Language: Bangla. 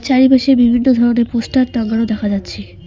চারিপাশে বিভিন্ন ধরনের পোস্টার টাঙানো দেখা যাচ্ছে।